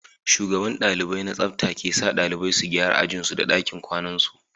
Shugaban dalibai na tsafta ke sa dalibai su gyara ajin su da dakin kwanan su